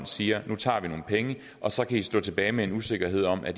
siger nu tager vi nogle penge og så kan i stå tilbage med en usikkerhed om at